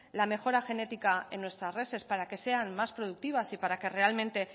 la mejora genética en nuestras reses para que sean más productivas y para que realmente